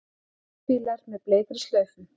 Steypubílar með bleikri slaufu